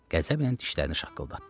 Qəzəblə dişlərini qıcırdatdı.